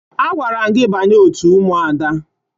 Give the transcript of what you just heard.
Agwara m gị banye òtù Ụmụada!